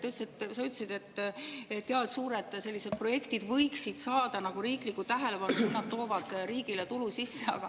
Sa ütlesid, et sellised suured projektid võiksid saada riiklikku tähelepanu, kui need toovad riigile tulu sisse.